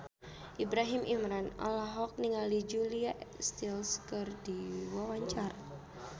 Ibrahim Imran olohok ningali Julia Stiles keur diwawancara